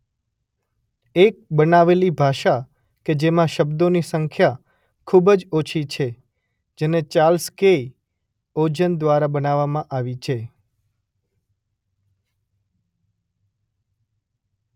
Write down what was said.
એક બનાવેલી ભાષા કે જેમાં શબ્દોની સંખ્યા ખૂબ જ ઓછી છે જેને ચાર્લ્સ કેય ઓજન દ્વારા બનાવવામાં આવી છે.